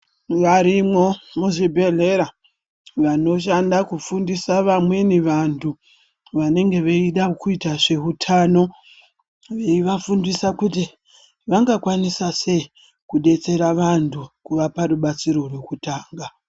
Varimwo muzvibhedhlera vanoshanda kufundisa vamweni vantu vanenge veida kuita zveutano. Veivafundisa kuti vanga kwanisa sei kubetsera vantu kuvapa rubetsero hwekutanga.